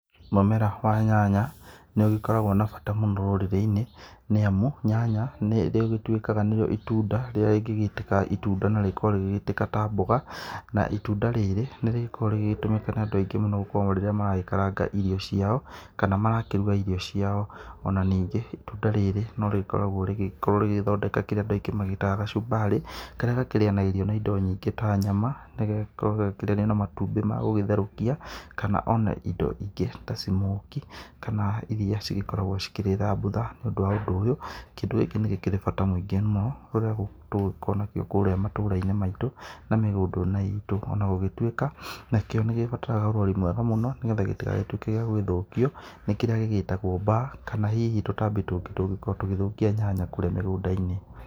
Mũmera wa nyanya nĩ ũgĩkoragwo na bata mũno rũrĩrĩ-ini ni amũ nyanya nĩ ĩgĩtũĩkaga nĩyo itũnda rĩrĩa rĩngĩgĩitĩka itũnda na rĩgĩkorwo rĩgigĩitĩka ta mboga na itunda rĩrĩ nĩ rĩgĩkoragwo rĩgĩgĩtũmĩka nĩ andũ aingĩ mũno gukũrwo maragĩkaranga irio ciao kana marakĩrũga irio ciao. Ona ningĩ itũnda rĩrĩ no rĩkoragwo rĩgĩthondeka kĩrĩa andũ aingĩ magĩtaga gacumbarĩ karia gakĩrĩanagĩrio na indo nyĩngĩ ta nyama nĩgagĩkoragwo gagĩkĩrĩanĩrio na matũmbi ma gũgĩtherũkia kana ona indo ingĩ ta smokie kana iria cigĩkoragwo cikĩrĩ thambutha. Nĩ ũndũ ũyũ kĩndũ gikĩ nĩ gĩkĩrĩ na bata mũingĩ mũno rĩrĩa tũgũgĩkorwo nakio kũrĩa matura-inĩ maitũ na mĩgũnda-inĩ itũ ona gũgĩtũĩka nakio nĩ gĩbataraga ũrori mwega mũno nĩgetha gĩtĩgagĩtuĩke gĩa gũgĩthũkio nĩ kĩrĩa gĩgĩtagwo baa kana hihi tũtabĩ tũngĩ tũngĩgĩkorwo tũgĩthũkia nyanya kũria mĩgunda-inĩ.